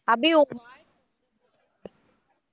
அபி உன்னோட voice